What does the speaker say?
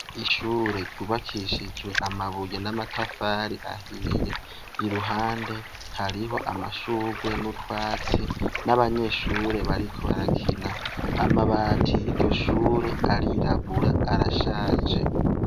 Ishure ry’ubakishijwe amabuye n’amatafari ahiye , iruhande hariho amashugwe n’utwatsi n’abanyeshure bariko barakina, amabati yiryo shure arirabura arashaje.